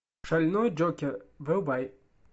шальной джокер врубай